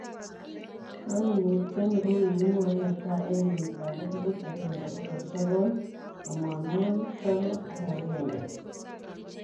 Koimutioni kokimwoe netai en kenyitab elput agenge pokol sokol tomonwogik sokol ak aenge.